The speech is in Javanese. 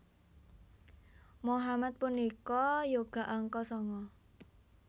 Mohamad punika yoga angka sanga